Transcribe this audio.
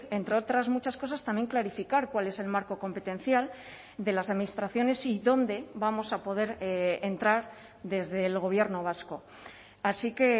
entre otras muchas cosas también clarificar cuál es el marco competencial de las administraciones y dónde vamos a poder entrar desde el gobierno vasco así que